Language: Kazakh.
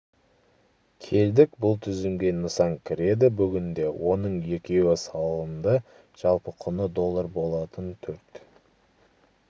келдік бұл тізімге нысан кіреді бүгінде оның екеуі салынды жалпы құны доллар болатын төрт